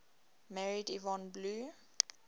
married yvonne blue